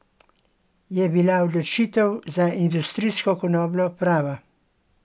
Je bila odločitev za industrijsko konopljo prava?